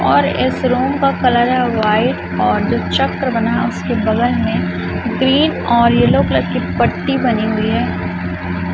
और इस रूम का कलर है वाइट और जो चक्र बना है उसके बगल में ग्रीन ओर येलो कलर की पट्टी बनी हुई है।